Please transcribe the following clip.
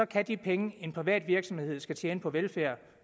kan de penge en privat virksomhed skal tjene på velfærd